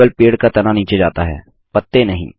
केवल पेड़ का तना नीचे जाता है पत्ते नहीं